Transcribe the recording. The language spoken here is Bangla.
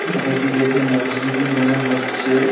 এ এটি দেখে মসজিদই মনে হচ্ছে।